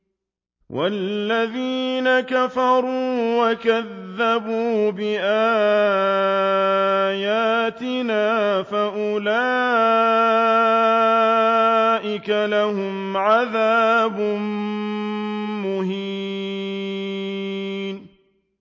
وَالَّذِينَ كَفَرُوا وَكَذَّبُوا بِآيَاتِنَا فَأُولَٰئِكَ لَهُمْ عَذَابٌ مُّهِينٌ